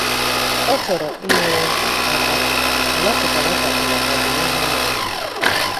Ọ chọrọ inyere aka mana ọchọkwara ịkwado maka ọdị n'ihu ụmụ ya.